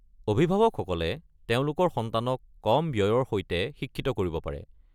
অভিভাৱকসকলে তেওঁলোকৰ সন্তানক কম ব্যয়ৰ সৈতে শিক্ষিত কৰিব পাৰে।